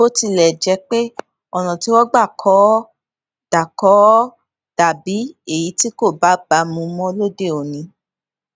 bo tilẹ jẹ pe ọnà tí wọn gbà kọ ó dà kọ ó dà bí èyí tí kò bágbà mu mó lóde òní